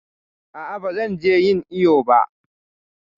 A'a ba zan je ƴin iƴo ba.